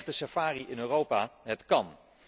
Echte safari in Europa, het kan!